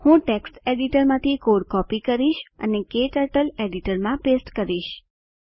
હું ટેક્સ્ટ એડિટરમાંથી code copy કરીશ અને ક્ટર્ટલ એડિટરમાં પેસ્ટ કરીશ